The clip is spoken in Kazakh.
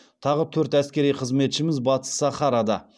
тағы төрт әскери қызметшіміз батыс сахарада